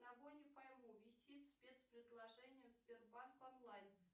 одного не пойму висит спецпредложение в сбербанк онлайн